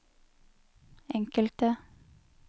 enkelte